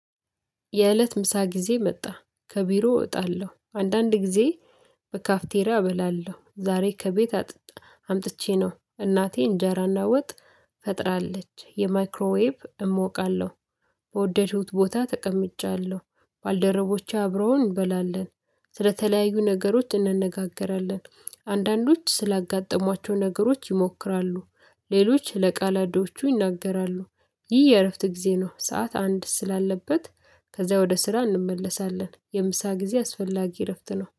የእለት ምሳ ጊዜ መጣ። ከቢሮ እወጣለሁ። አንዳንድ ጊዜ በካፍቴሪያ እበላለሁ። ዛሬ ከቤት አምጥቼ ነው እናቴ እንጀራና ወጥ ፈጥራለች። የማይክሮዌብ እሞቃለሁ። በወደድኩት ቦታ ተቀምጫለሁ። ባልደረቦቼ አብረውን እንበላለን። ስለተለያዩ ነገሮች እንነጋገራለን። አንዳንዶች ስላጋጠሟቸው ነገሮች ይሞክራሉ፣ ሌሎች ለቃላዶቹ ይናገራሉ። ይህ የእረፍት ጊዜ ነው። ሰዓት አንድ ስላለበት ከዛ ወደ ስራ እንመለሳለን። የምሳ ጊዜ አስፈላጊ እረፍት ነው።